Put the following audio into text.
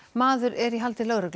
maður er í haldi lögreglu